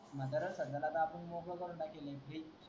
म्हातारा संध्याकाळचा मोकळा करून टाकेन मी